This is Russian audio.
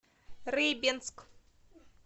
рыбинск